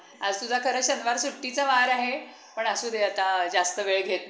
आज तुझा खरं शनिवार सुट्टीचा वार आहे पण असुदे आता जास्त वेळ घेत नाही